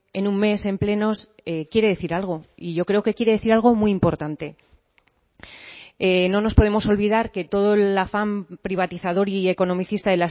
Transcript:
en un mes en plenos quiere decir algo y yo creo que quiere decir algo muy importante no nos podemos olvidar que todo el afán privatizador y economicista